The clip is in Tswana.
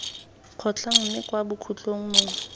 kgotlhang mme kwa bokhutlhong mongwe